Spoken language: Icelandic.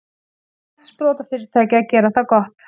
Íslenskt sprotafyrirtæki að gera það gott